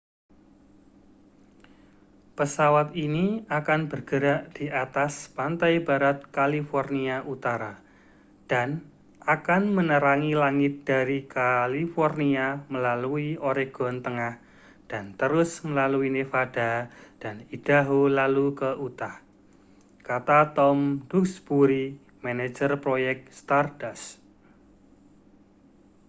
pesawat ini akan bergerak di atas pantai barat california utara dan akan menerangi langit dari california melalui oregon tengah dan terus melalui nevada dan idaho lalu ke utah kata tom duxbury manajer proyek stardust